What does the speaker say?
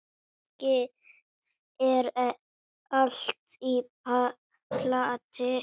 Kannski er allt í plati.